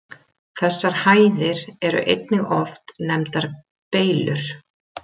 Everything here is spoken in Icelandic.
Þessar hæðir eru einnig oft nefndar Beylur.